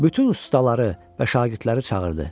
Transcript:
Bütün ustaları və şagirdləri çağırdı.